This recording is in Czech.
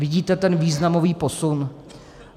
Vidíte ten významový posun?